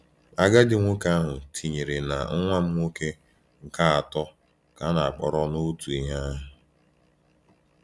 Agadi nwoke ahụ tinyere na nwa m nwoke nke atọ ka a na-akpọrọ n’otu ihe ahụ.